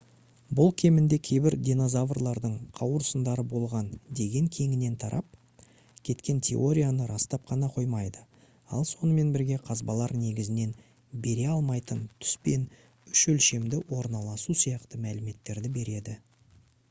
бұл кемінде кейбір динозаврлардың қауырсындары болған деген кеңінен тарап кеткен теорияны растап қана қоймайды ал сонымен бірге қазбалар негізінен бере алмайтын түс пен үш өлшемді орналасу сияқты мәліметтерді береді